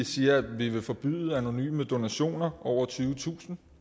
siger at vi vil forbyde anonyme donationer over tyvetusind